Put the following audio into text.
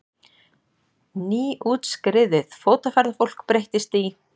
Nýútskriðið fótaferðafólk breyttist í